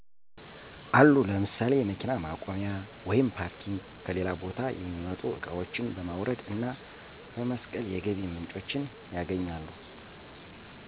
አሉ ለምሳሌ የመኪና ማቆያ(ፓርኪንግ) ከሌላ ቦታ የሚመጡ እቃዋችን በማውረድ እና በመስቀል የገቢ ምንጮችን ያገኛሉ